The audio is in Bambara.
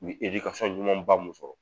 U ye ɲumanba mun sɔrɔ